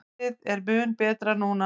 Veðrið er mun betra núna.